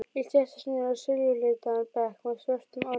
Ég settist niður á silfurlitaðan bekk með svörtum örmum.